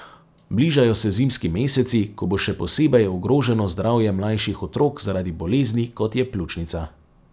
Bližajo se zimski meseci, ko bo še posebej ogroženo zdravje mlajših otrok zaradi bolezni, kot je pljučnica.